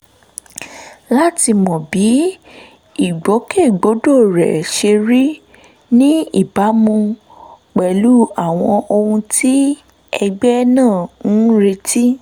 láti mọ bí ìgbòkègbodò rẹ̀ ṣe rí ní ìbámu pẹ̀lú àwọn ohun tí ẹgbẹ́ náà ń retí